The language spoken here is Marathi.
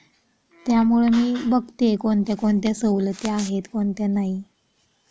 त्यामुळे मी बघते आहे कोणते कोणते सवलत्या आहेत कोणत्या नाही.